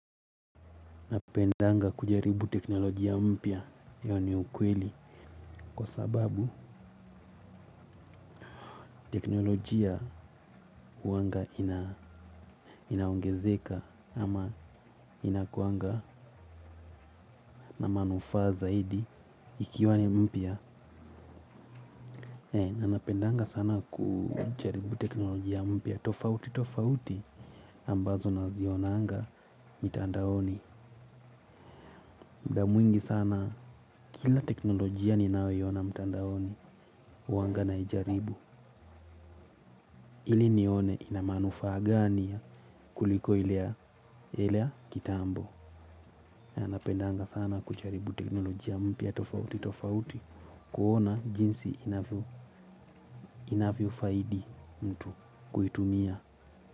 Napendanga kujaribu teknolojia mpya hiyo ni ukweli kwa sababu teknolojia huanga inaongezeka ama inakuanga na manufaa zaidi ikiwa ni mpya. Na nanapendanga sana kujaribu teknolojia mpya tofauti tofauti ambazo nazionanga mitandaoni. Muda mwingi sana kila teknolojia ninayoiona mtandaoni huanga naijaribu. Ili nione ina manufaa gani kuliko ile ya kitambo. Na napendanga sana kujaribu teknolojia mpya tofauti tofauti. Kuona jinsi inavyofaidi mtu kuitumia.